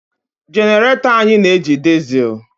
Genarato anyị na-eji disel